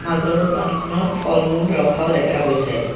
মাজৰ দোকানখনত ফল-মূল ৰখাও দেখা গৈছে।